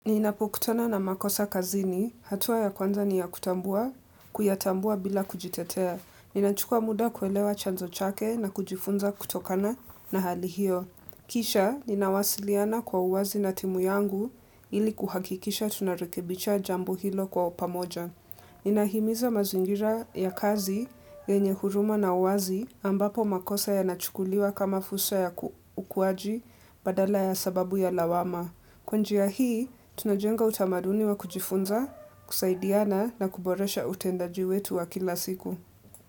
Ninapokutona na makosa kazini, hatua ya kwanza ni ya kutambua, kuyatambua bila kujitetea. Ninachukua muda kuelewa chanzo chake na kujifunza kutokana na hali hiyo. Kisha, ninawasiliana kwa uwazi na timu yangu ili kuhakikisha tunarekebisha jambo hilo kwa opamoja. Ninahimiza mazingira ya kazi yenye huruma na uwazi ambapo makosa yanachukuliwa kama fursa ya ukuwaji badala ya sababu ya lawama. Kwa njia hii, tunajenga utamaduni wa kujifunza, kusaidiana na kuboresha utendaji wetu wa kila siku.